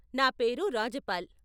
నా పేరు రాజపాల్.